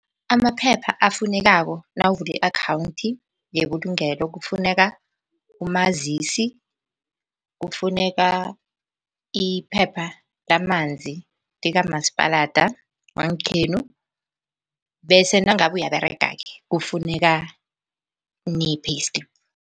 Amaphepha afunekako nawuvula i-akhawunthi yebulugelo kufuneka umazisi, kufuneka iphepha lamanzi likamasipalada wangekhenu. Bese nangabe uyaberega-ke kufuneka ne-payslip.